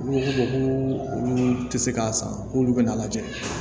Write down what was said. Olu ko ko olu tɛ se k'a san k'olu bɛna a lajɛ